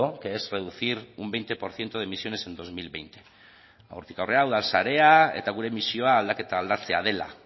que es reducir un veinte por ciento de emisiones en dos mil veinte hortik aurrera udalsarea eta gure misioa aldaketa aldatzea dela